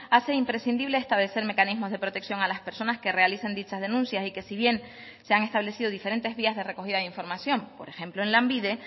hace imprescindible establecer mecanismos de protección a las personas que realizan dichas denuncias y que si bien se han establecido diferentes vías de recogida de información por ejemplo en lanbide